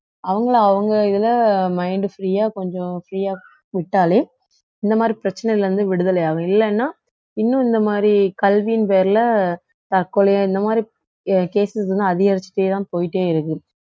அவங்களை அவங்க இதுல mind free ஆ கொஞ்சம் free ஆ விட்டாலே இந்த மாதிரி பிரச்சனையில இருந்து விடுதலை ஆகும் இல்லன்னா இன்னும் இந்த மாதிரி கல்வியின் பேர்ல தற்கொலையா இந்த மாதிரி ca~ cases இன்னும் அதிகரிச்சுட்டேதான் போயிட்டே இருக்கு